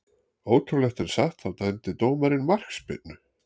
Ótrúlegt en satt, þá dæmdi dómarinn markspyrnu.